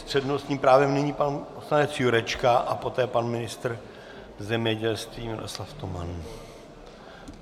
S přednostním právem nyní pan poslanec Jurečka a poté pan ministr zemědělství Miroslav Toman.